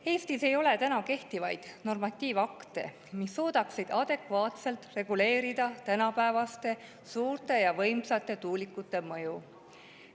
Eestis ei ole kehtivaid normatiivakte, mis suudaksid adekvaatselt reguleerida tänapäevaste suurte ja võimsate tuulikute mõju.